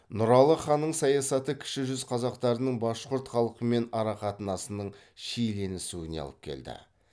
нұралы ханның саясаты кіші жүз қазақтарының башқұрт халқымен арақатынасының шиеленісуіне алып келді